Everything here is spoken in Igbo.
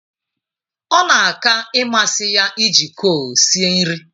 Ọ na aka ịmasị ya iji kol sie nri.